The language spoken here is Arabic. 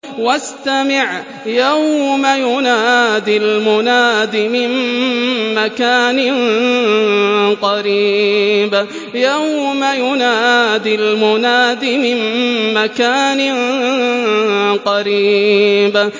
وَاسْتَمِعْ يَوْمَ يُنَادِ الْمُنَادِ مِن مَّكَانٍ قَرِيبٍ